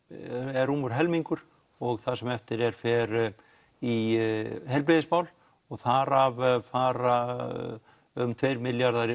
eða rúmur helmingur og það sem eftir er fer í heilbrigðismál þar af fara um tveir milljarðar í